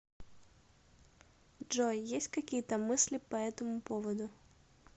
джой есть какие то мысли по этому поводу